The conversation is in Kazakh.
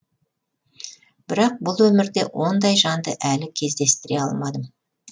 бірақ бұл өмірде ондай жанды әлі кездестіре алмадым